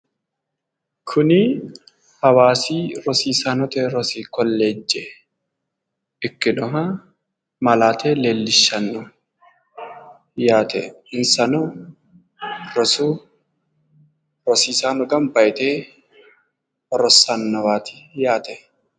Kuni hawaasi rosiisaanote rosi kolleejje ikkinoha malaate leellishshanno yaate, insano rosu rosiisaano gamba yite rossannowaati yaate.